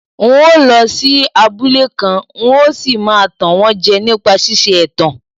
N óo lọ sí abúlé kan, n óo sì máa tàn wọ́n jẹ nípa ṣíṣe ẹ̀tàn.